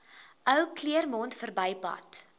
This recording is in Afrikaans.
ou claremont verbypad